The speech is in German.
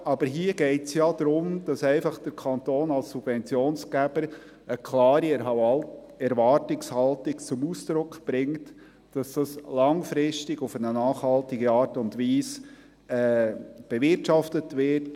Aber hier geht es darum, dass der Kanton als Subventionsgeber einfach eine klare Erwartungshaltung zum Ausdruck bringt, dass dies langfristig auf eine nachhaltige Art und Weise bewirtschaftet wird.